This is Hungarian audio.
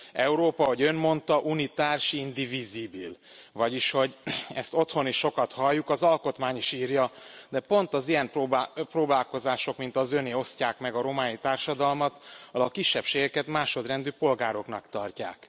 Európa, ahogy Ön mondta vagyis hogy ezt otthon is sokat halljuk az alkotmány is írja, de pont az ilyen próbálkozások, mint az Öné, osztják meg a román társadalmat, ahol a kisebbségeket másodrendű polgároknak tartják.